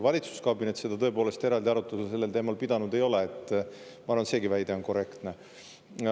Valitsuskabinet eraldi arutelu sellel teemal pidanud ei ole, ma arvan, et seegi väide on korrektne.